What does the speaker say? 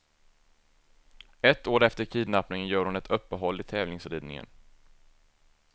Ett år efter kidnappningen gör hon ett uppehåll i tävlingsridningen.